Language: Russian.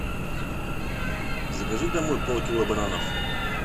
закажи домой пол кило бананов